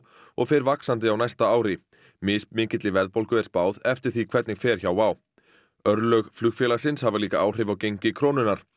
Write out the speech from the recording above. og fer vaxandi á næsta ári mismikilli verðbólgu er spáð eftir því hvernig fer hjá Wow örlög flugfélagsins hafa líka áhrif á gengi krónunnar